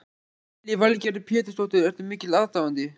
Lillý Valgerður Pétursdóttir: Ertu mikill aðdáandi?